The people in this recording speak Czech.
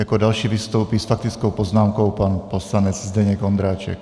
Jako další vystoupí s faktickou poznámkou pan poslanec Zdeněk Ondráček.